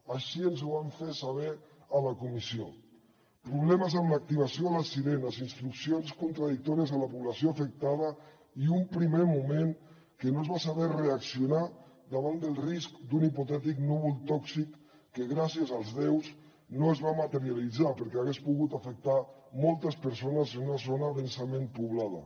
així ens ho van fer saber a la comissió problemes amb l’activació de les sirenes instruccions contradictòries a la població afectada i un primer moment que no es va saber reaccionar davant del risc d’un hipotètic núvol tòxic que gràcies als déus no es va materialitzar perquè hagués pogut afectar moltes persones en una zona densament poblada